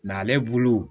N'ale bulu